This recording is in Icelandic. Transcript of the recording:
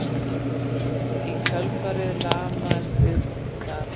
í kjölfarið lamast viðkomandi þar